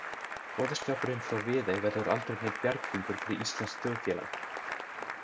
Boðskapurinn frá Viðey verður aldrei neinn bjarghringur fyrir íslenskt þjóðfélag.